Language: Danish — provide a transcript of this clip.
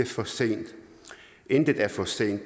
for sent intet er for sent